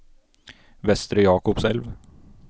Vestre Jakobselv